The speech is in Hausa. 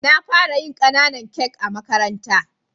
Na fara yin kananan kak a makaranta.